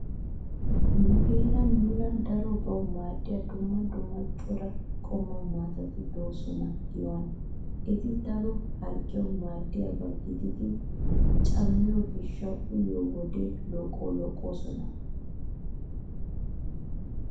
Nu heeran nuna darobawu maaddiya dumma dumma cora qommo maatati de'oosona giyohaa. Eti daro harggiyawu maadiyaba gidiiddi cammiyo gishshawu uyiyode looqqoyoosona.